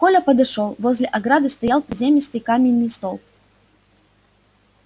коля подошёл возле ограды стоял приземистый каменный столб